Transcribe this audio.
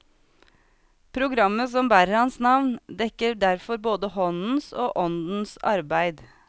Programmet som bærer hans navn, dekker derfor både håndens og åndens arbeid.